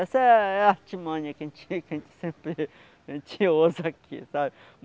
Essa é é a artimanha que a gente tinha sempre que a gente ouça aqui, sabe?